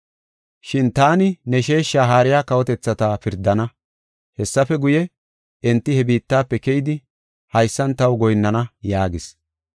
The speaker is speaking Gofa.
Shin taani ne sheesha haariya kawotethata pirdana. Hessafe guye, enti he biittafe keyidi haysan taw goyinnana’ yaagis.